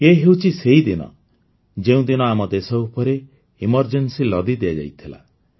ଏ ହେଉଛି ସେହିଦିନ ଯେଉଁଦିନ ଆମ ଦେଶ ଉପରେ ଏମରଜେନ୍ସି ଲଦି ଦିଆଯାଇଥିଲା